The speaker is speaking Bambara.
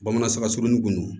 Bamanan saga surunin kun